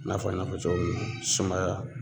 I n'a fɔ n y'a fɔ cogo min na sumaya